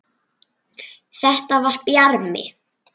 Þetta var Bjarmi!